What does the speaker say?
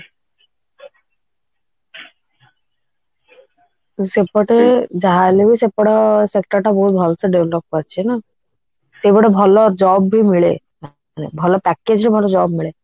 ସେପଟେ ଯାହାହେଲେବି ସେପଟ sector ଟା ବହୁତ ବହୁତ ଭଲସେ develop କରିଛି ନା ଏପଟେ ଭଲ job ବି ମିଳେ ଭଲ package ରୁ ଭଲ job ମିଳେ